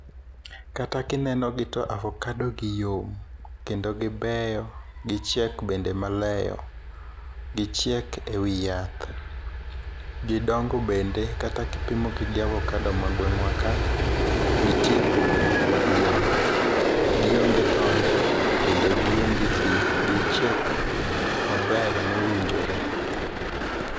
Kata kinenogi to avokadogi yom, kendo gibeyo. Gichieko bende maleyo. Gichiek e wi yath. Gidongo bende kata kipimogo gi avokado ma gweng'waka, nitie pogruok maduong'. Gionge tonde kendo gionge pi. Gichiek maber mowinjore.